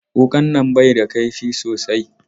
Wuƙan nan bai da ƙaifi sosai.